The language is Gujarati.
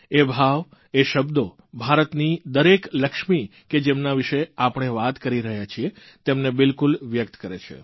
એ ભાવ એ શબ્દો ભારતની દરેક લક્ષ્મી કે જેમના વિષે આપણે વાત કરી રહ્યા છીએ તેમને બિલકુલ વ્યકત કરે છે